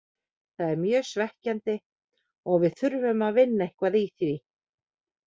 Það er mjög svekkjandi og við þurfum að vinna eitthvað í því.